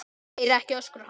Heyri ekki öskur hans.